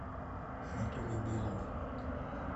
анатолий белов